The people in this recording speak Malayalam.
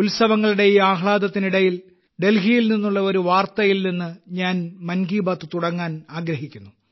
ഉത്സവങ്ങളുടെ ഈ ആഹ്ലാദത്തിനിടയിൽ ഡൽഹിയിൽ നിന്നുള്ള ഒരു വാർത്തയിൽ നിന്ന് ഞാൻ മൻ കി ബാത്ത് തുടങ്ങാൻ ആഗ്രഹിക്കുന്നു